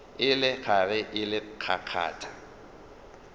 e le gare e kgakgatha